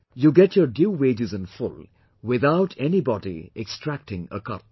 You get your due wages in full, without anybody extracting a cut